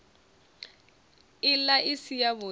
ila i si yavhud i